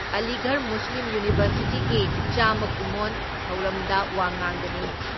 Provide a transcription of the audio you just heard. ꯑꯂꯤꯒꯔ ꯃꯨꯁꯂꯤꯝ ꯌꯨꯅꯤꯚꯔꯁꯤꯇꯤꯒꯤ ꯆꯥꯝꯃ ꯀꯨꯝꯑꯣꯟ ꯊꯧꯔꯝꯗ ꯋꯥ ꯉꯥꯡꯒꯅꯤ ꯫